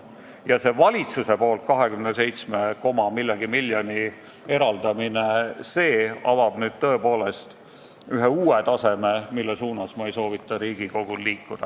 Ja see valitsuse poolt 27 koma millegagi miljoni eraldamine avab nüüd tõepoolest ühe uue taseme, mille suunas ma ei soovita Riigikogul liikuda.